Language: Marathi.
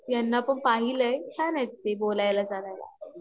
यांना पण पाहिलंय, छान आहेत ते बोलायला चालायला